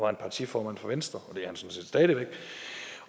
han partiformand for venstre